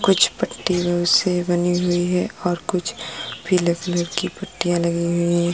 कुछ पट्टियों से बनी हुई हैं और कुछ पीले कलर की पट्टिया लगी हुई हैं।